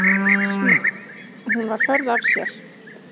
Hún var hörð af sér.